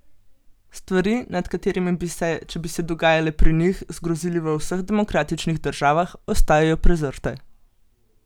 Stvari, nad katerimi bi se, če bi se dogajale pri njih, zgrozili v vseh demokratičnih državah, ostajajo prezrte.